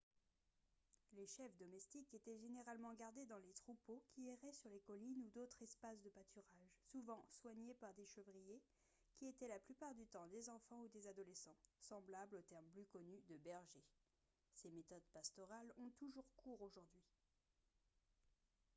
les chèvres domestiques étaient généralement gardées dans les troupeaux qui erraient sur les collines ou d'autres espaces de pâturage souvent soignées par des chevriers qui étaient la plupart du temps des enfants ou des adolescents semblables au terme plus connu de bergers ces méthodes pastorales ont toujours cours aujourd'hui